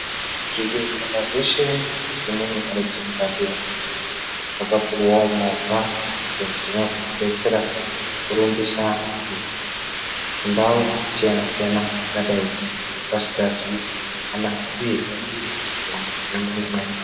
Zvibhedhlera zveshe nezvimweni ndau dzekurapira zvakapuwawo movha dzinozodetsera kurumbisa antu mundau dzakasiyana-siyana kwangadai vasingazwi zvakanaka uye vanenge veirwara zvemene mene.